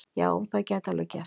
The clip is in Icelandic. Já, það gæti alveg gerst.